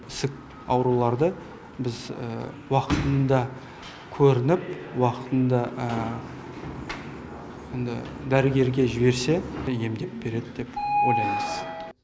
ісік ауруларды біз уақытында көрініп уақытында дәрігерге жіберсе емдеп береді деп ойлаймыз